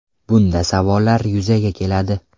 Bunda savollar yuzaga keladi.